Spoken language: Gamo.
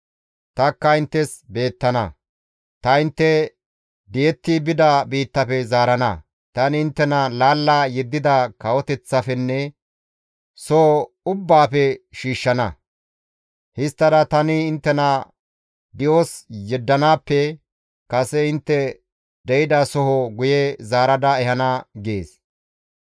Tanikka inttes beettana. Ta intte di7etti bida biittafe zaarana; tani inttena laalla yeddida kawoteththafenne soho ubbaafe shiishshana; histtada tani inttena di7os yeddanaappe kase intte de7ida soho guye zaarada ehana› gees.